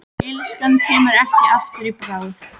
Illskan kemur ekki aftur í bráð.